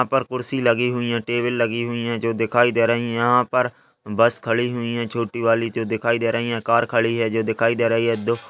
यहाँ पर कुर्सी लगी हुईं हैं। टेबल लगी हुई हैं जो दिखाई दे रही हैं। यहाँ पर बस खड़ी हुईं हैं। छोटी वाली जो दिखाई दे रहीं हैं। कार खड़ी हुई है जो दिखाई दे रही है। दो --